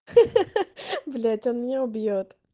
ха-ха блять он меня убьёт